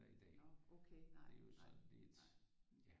I dag det er jo sådan lidt ja